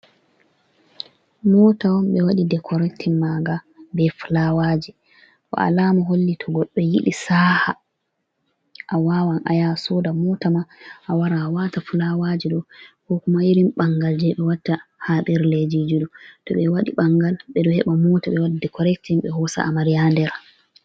Mota on ɓe waɗi dekorektin maaga be fulawaji bo alama holli to goɗɗo yiɗi saha, awawan ayaha asoda mota ma awara awata fulawaji ɗo ko kuma irin ɓangal je ɓe watta haɓerlejeji ɗo to ɓe waɗi ɓangal ɓeɗo heɓa mota ɓe waɗa dekorektin ɓe hosa amariya ha nder.